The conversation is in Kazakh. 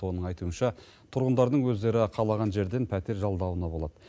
оның айтуынша тұрғындардың өздері қалаған жерден пәтер жалдауына болады